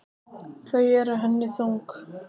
Þau eru henni þung.